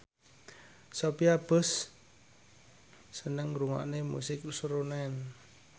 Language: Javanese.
Sophia Bush seneng ngrungokne musik srunen